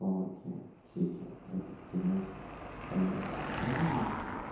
словакия чехия это такие знаете самые распространённые